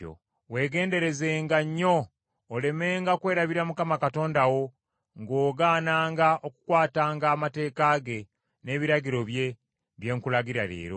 “Weegenderezenga nnyo olemenga kwerabiranga Mukama Katonda wo, ng’ogaananga okukwatanga amateeka ge, n’ebiragiro bye, bye nkulagira leero.